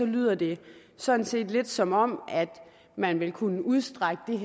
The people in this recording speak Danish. lyder det sådan set lidt som om man vil kunne udstrække det